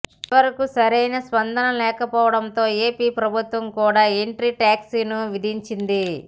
చివరకు సరైన స్పందనలేకపోవడంతో ఏపి ప్రభుత్వం కూడా ఎంట్రీ ట్యాక్స్ను విధించింది